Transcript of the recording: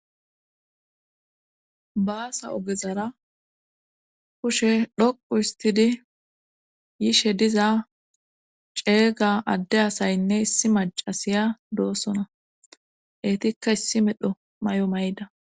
baasa ogezara kushe dhoqu histidi yishe diza ceega adde asaynne issi macasiya doosona eetikka issi medho mayo mayida